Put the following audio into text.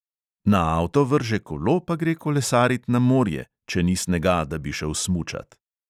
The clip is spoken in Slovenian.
Na avto vrže kolo pa gre kolesarit na morje, če ni snega, da bi šel smučat.